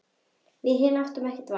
Við hin áttum ekkert val.